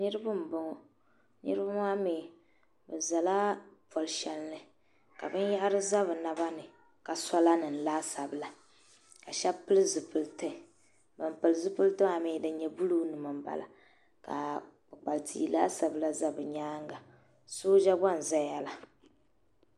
niriba m-bɔŋɔ niriba maa mi bɛ zala pol' shɛli ni ka binyɛhiri za bɛ naba ni ka sɔla nima laasabu la ka shɛba pili zupiliti ban pili zupiliti maa mi din nyɛ buluu nima m-bala ka kpukpali tia laasabu la za bɛ nyaaga sooja gba n-zaya la.